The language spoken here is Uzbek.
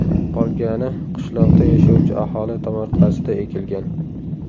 Qolgani qishloqda yashovchi aholi tomorqasida ekilgan.